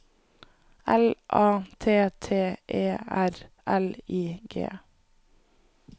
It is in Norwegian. L A T T E R L I G